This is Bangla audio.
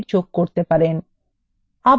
আবার b4এ click করুন